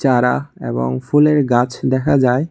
চারা এবং ফুলের গাছ দেখা যায়।